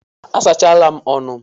A sachala m ọnụ.